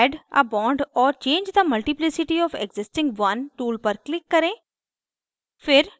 add a bond or change the multiplicity of existing one tool पर click करें